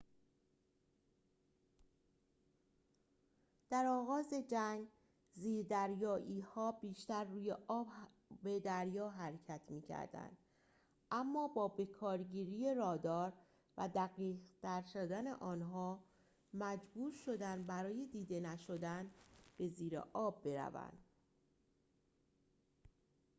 در آغاز جنگ زیردریایی‌ها بیشتر روی آب دریا حرکت می‌کردند اما با بکارگیری رادار و دقیق‌تر شدن آن آنها محبور شدند برای دیده نشدن به زیر آب بروند